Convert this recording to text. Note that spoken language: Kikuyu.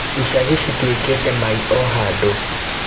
Icagi citwikĩte maĩ o handũ